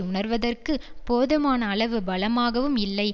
உணருவதற்கு போதுமான அளவு பலமாகவும் இல்லை